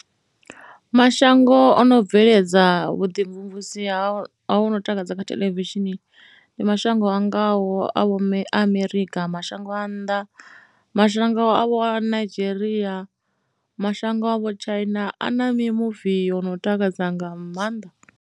Mashango o no bveledza vhuḓimvumvusi ho no takadza kha theḽevishini ndi ma shango a ngaho a vho Amerika, mashango a nnḓa, mashango a vho Nigeria, mashango a vho China a na mimuvi yo no takadza nga maanḓa.